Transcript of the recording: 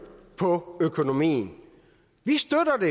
på økonomien vi støtter